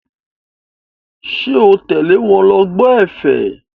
Ṣé o tẹ̀lé wọn lọ gbọ́ ẹ̀fẹ̀?